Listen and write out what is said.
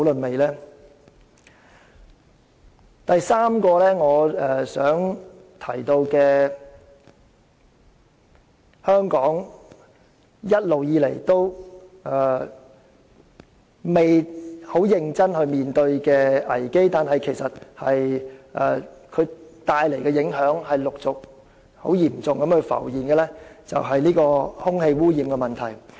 我想提出的第三個危機，是香港一直沒有認真面對，但其帶來的嚴重影響正陸續浮現的空氣污染問題。